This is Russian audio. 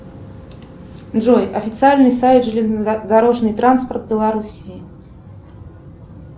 джой официальный сайт железнодорожный транспорт белоруссии